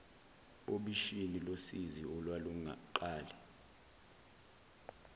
obishini losizi olwaluqale